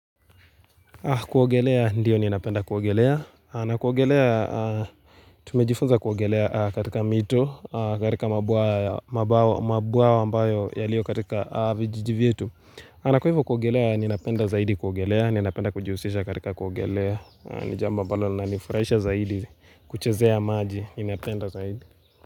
Kuogelea, ndiyo ninapenda kuogelea, na kuogelea, tumejifunza kuogelea katika mito, katika mabawa, mabawa mabwayo yalio katika vijiji vyetu na kwa hivo kuogelea, ninapenda zaidi kuogelea, ninapenda kujihusisha katika kuogelea, ni jambo ambalo linanifurahisha zaidi kuchezea maji, ninapenda zaidi.